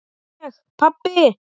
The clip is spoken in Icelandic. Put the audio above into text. Ég pabbi!